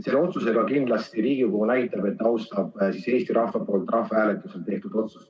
Selle otsusega kindlasti Riigikogu näitab, et ta austab Eesti rahva rahvahääletusel tehtud otsust.